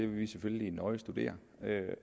vi selvfølgelig nøje studere